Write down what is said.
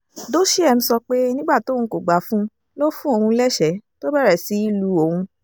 dosheim sọ pé nígbà tóun kò gbà fún un ló fún òun lẹ́sẹ̀ẹ́ tó bẹ̀rẹ̀ sí í lu òun